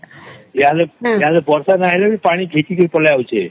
ଏଆଡ଼େ ବର୍ଷ ନାଇଁ ହେଲେ ବି ପାଣି ଗହିଁଚି କରି ପଳେଇ ଆସୁଛେ